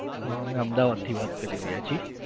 હા અમે અમદાવાદથી વાત કરી રહ્યા છીએ.